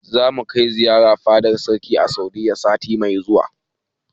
Zamu kai ziyara fadar sarki a Saudiyya sati mai zuwa.